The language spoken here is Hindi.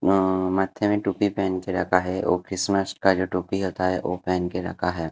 मा माथे मे टोपी पहेन के रखा है वो क्रिसमस का जो टोपी होता है वो पहेन के रखा है।